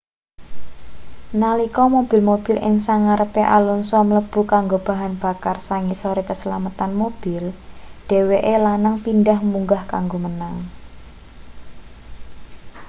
nalika mobil-mobil ing sangarepe alonso mlebu kanggo bahan bakar sangisore keslametan mobil dheweke lanang pindhah munggah kanggo menang